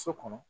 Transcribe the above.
So kɔnɔ